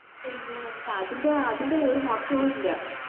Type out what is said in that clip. പിന്നെ വന്നിട്ട് അതിൻറെ അതിൻറെ ഒരു മൊറാക്കോ ഇല്ല